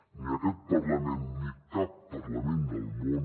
ni aquest parlament ni cap parlament del món